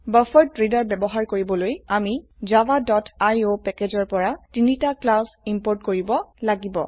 buffered reader ব্যবহাৰ কৰিবলৈ আমি javaআইঅ প্যাকেজৰ পৰা তিনটি ক্লাস ইম্পোৰ্ট কৰিব লাগে